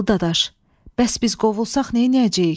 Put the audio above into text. Alı dadaş, bəs biz qovulsaq neyniyəcəyik?